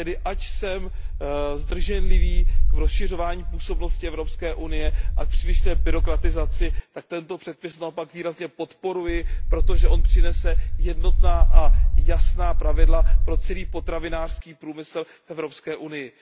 Ač jsem zdrženlivý v rozšiřování působnosti Evropské unie a v přílišné byrokratizaci, tak tento předpis naopak výrazně podporuji, protože přinese jednotná a jasná pravidla pro celý potravinářský průmysl v Evropské unii.